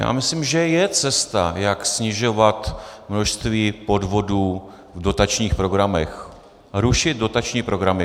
Já myslím, že je cesta, jak snižovat množství podvodů v dotačních programech - rušit dotační programy.